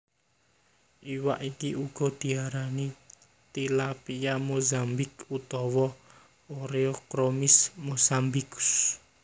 Iwak iki uga diarani tilapia Mozambik utawa Oreochromis mossambicus